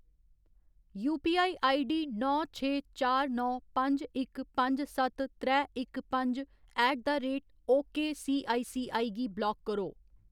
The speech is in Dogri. यूपीआईआईडी नौ छे चार नौ पंज इक पंज सत्त त्रै इक पंज ऐट द रेट ओकेसीआईसीआई गी ब्लाक करो।